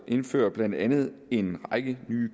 indfører blandt andet en række nye